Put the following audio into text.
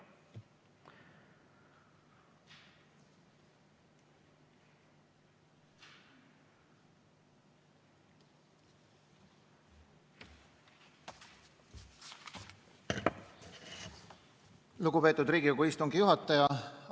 Lugupeetud Riigikogu istungi juhataja!